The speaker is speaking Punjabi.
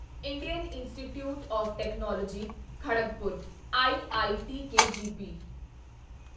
Indian institute of technology Kharagpur IIT KGP